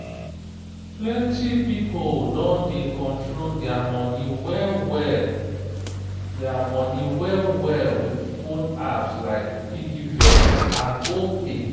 plenty pipo don dey control dia money well-well dia money well-well with phone apps like piggyvest and opay.